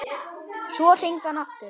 Svo hringdi hann aftur.